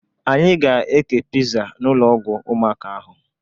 Anyị ga-ékè piza n'ụlọ ọgwụ ụmụaka ahụ.